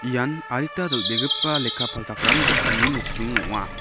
ian adita dal·begipa lekka palchakram dokanni nokdring ong·a.